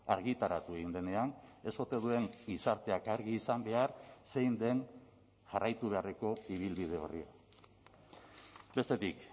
argitaratu egin denean ez ote duen gizarteak argi izan behar zein den jarraitu beharreko ibilbide horri bestetik